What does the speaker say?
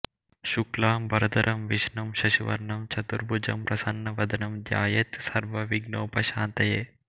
శుక్లాంబరధరం విష్ణుం శశివర్ణం చతుర్భుజం ప్రసన్నవదనం ధ్యాయేత్ సర్వ విఘ్నోప శాంతయే